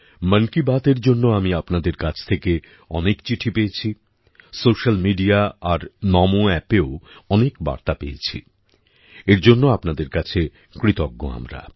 মন কি বাতএর জন্য আমি আপনাদের কাছ থেকে অনেক চিঠি পেয়েছি সোশ্যাল মিডিয়া আর নমো অ্যাপেও অনেক বার্তা পেয়েছি এর জন্য আপনাদের কাছে কৃতজ্ঞ আমরা